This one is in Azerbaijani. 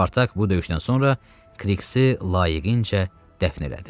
Spartak bu döyüşdən sonra Kriksi layiqincə dəfn elədi.